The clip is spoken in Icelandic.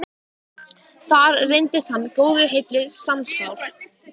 Þar reyndist hann góðu heilli sannspár.